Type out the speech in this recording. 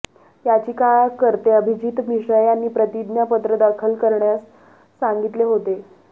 याचिकाकर्ते अभिजित मिश्रा यांनी प्रतिज्ञापत्र दाखल करण्यास सांगितले होते